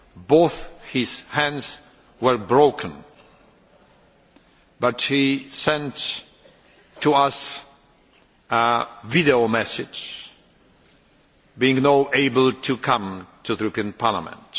Both his hands were broken, but he sent us a video message, being unable to come to the European Parliament.